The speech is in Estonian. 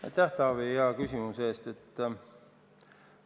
Aitäh, Taavi, hea küsimuse eest!